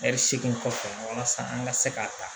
Ɛri seegin kɔfɛ walasa an ka se ka ta